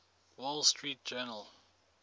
wall street journal